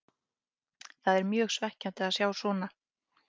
Það er mjög svekkjandi að sjá svona.